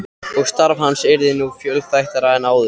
Og starf hans yrði nú fjölþættara en áður.